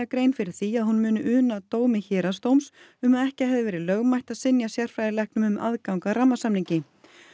grein fyrir því að hún muni una dómi héraðsdóms um að ekki hefði verið lögmætt að synja sérfræðilæknum um aðgang að rammasamningi